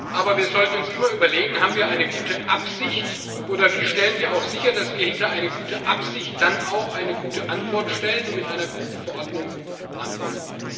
Aber wir sollten uns immer überlegen Haben wir eine gute Absicht, oder wie stellen wir auch sicher, dass wir hinter eine gute Absicht dann auch eine gute Antwort stellen und mit einer guten Verordnung antworten?